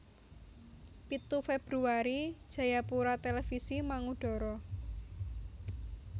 Pitu Februari Jayapura Televisi mangudara